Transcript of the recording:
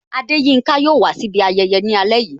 Adeyinka yo wà si ibi ayẹyẹ ni ale yìí